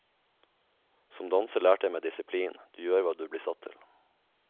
Som danser lærte jeg meg disiplin, du gjør hva du blir satt til.